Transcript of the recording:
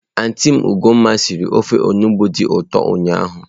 Antị m Ogoma sịrị ofe onugbu dị ụtọ ụnyahụ.